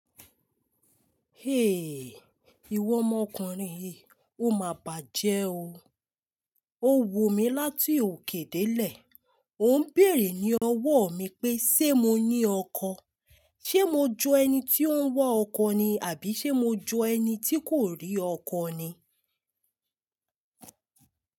Iwọ omọkúnrin yi, o má bàjẹ́ o. O wò mí láti òkè dé lè, òun bèèrè ní ọwọ́ mi pé ṣé mo ní ọkọ̀? Ṣé mo ju ẹni tí ó ń wá ọkọ̀ ni àbí ṣé mo jo ẹni tí kò rí ọkọ̀ ni?